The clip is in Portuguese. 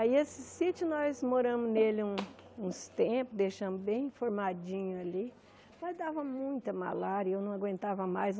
Aí, esse sítio, nós moramos nele um uns tempos, deixamos bem formadinho ali, mas dava muita malária, e eu não aguentava mais.